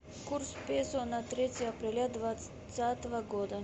курс песо на третье апреля двадцатого года